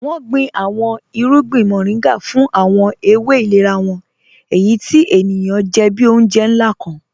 Wọn gbìn àwọn ìrùgbìn Mọ̀rìngà fún àwọn èwé ìlẹ̀rà wọn, èyí tí ènìyàn jẹ́ bí ọ̀unjẹ̀ nlá kàn.